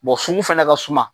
sugu fana ka suma.